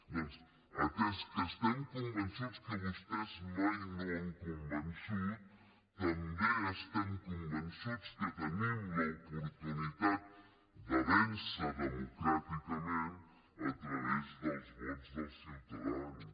doncs atès que estem convençuts que vostès mai no han convençut també estem convençuts que tenim l’oportunitat de vèncer democràticament a través dels vots dels ciutadans